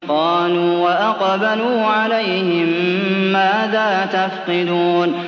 قَالُوا وَأَقْبَلُوا عَلَيْهِم مَّاذَا تَفْقِدُونَ